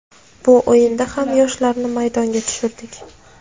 Bu o‘yinda ham yoshlarni maydonga tushirdik.